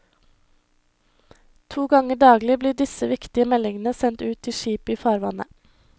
To ganger daglig blir disse viktige meldingene sendt ut til skip i farvannet.